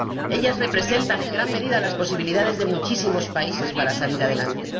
Ellas representan en gran medida las posibilidades de muchísimos países para salir adelante.